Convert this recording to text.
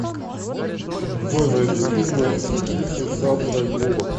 джой найди фильмы с актрисой сандрой буллок